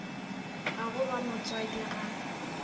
a go ba motswadi ga